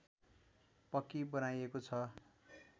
पक्की बनाइएको छ